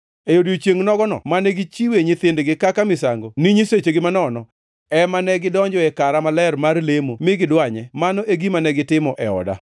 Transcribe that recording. E odiechiengʼ nogono mane gichiwe nyithindgi kaka misango ni nyisechegi manono, ema negidonjoe e kara maler mar lemo mi gidwanye. Mano e gima negitimo e oda.